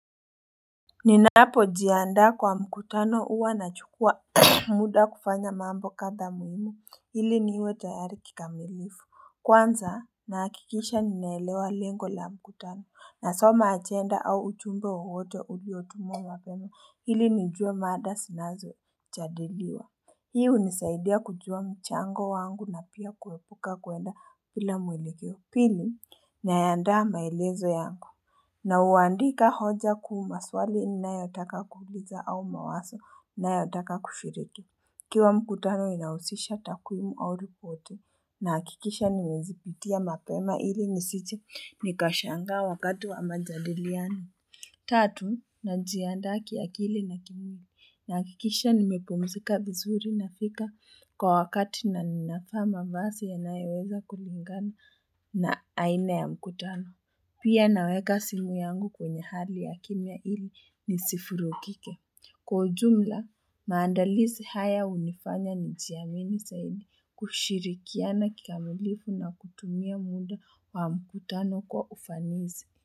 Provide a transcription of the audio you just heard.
Ninapo jiandaa kwa mkutano huwa nachukua muda kufanya mambo kadha muhimu ili niwe tayari kikamilifu Kwanza nahakikisha ninaelewa lengo la mkutano nasoma agenda au ujumbe wowote uliotumwa mapema ili nijue mada zinazojadiliwa Hii hunisaidia kujua mchango wangu na pia kuepuka kwenda bila mwelekeo Pili nayaandaa maelezo yangu Nauandika hoja kuu maswali ninayotaka kuuliza au mawazo ninayotaka kushiriki. Ikiwa mkutano inahusisha takwimu au ripoti. Na hakikisha nimezipitia mapema ili nisije nikashangaa wakati wa majadiliano. Tatu najiandaa kiakili na kimwili. Nahakikisha nimepumzika vizuri nafika kwa wakati na ninavaa mavazi yanayoweza kulingana na aina ya mkutano. Pia naweka simu yangu kwenye hali ya kimya ili nisivurugike. Kwa ujumla, maandalizi haya hunifanya nijiamini zaidi kushirikiana kikamilifu na kutumia muda wa mkutano kwa ufanisi.